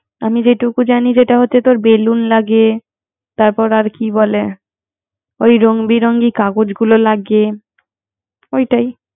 আমি যেটুকু জানি, যেটা হচ্ছে যে, বেলুন লাগে, তারপর কি বলে? ওই রংবি রিং কাগজ লাগে ওইটাই